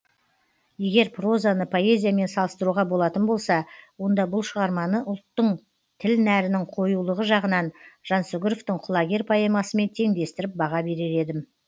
егер прозаны поэзиямен салыстыруға болатын болса онда бұл шығарманы ұлттың тіл нәрінің қоюлығы жағынан жансүгіровтің құлагер поэмасымен теңдестіріп баға берер едім